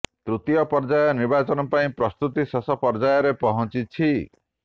ତୃତୀୟ ପର୍ଯ୍ୟାୟ ନିର୍ବାଚନ ପାଇଁ ପ୍ରସ୍ତୁତି ଶେଷ ପର୍ଯ୍ୟାୟରେ ପହଞ୍ଚିଛି